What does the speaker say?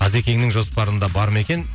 ғазекеңнің жоспарында бар ма екен